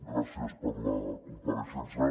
gràcies per la compareixença